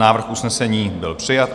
Návrh usnesení byl přijat.